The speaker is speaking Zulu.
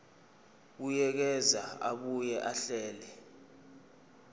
buyekeza abuye ahlele